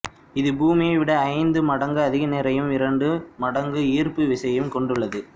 இது பூமியை விட ஐந்து மடங்கு அதிக நிறையும் இரண்டு மடங்கு ஈர்ப்பு விசையையும் கொண்டுள்ளது